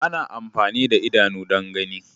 Ana amfani da idanu don gani.